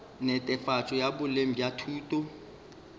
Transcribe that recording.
netefatšo ya boleng bja thuto